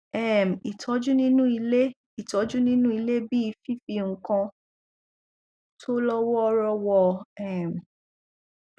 um ìtọjú nínú ilé ìtọjú nínú ilé bí i fifi nǹkan tó lọ wọọrọ wọ um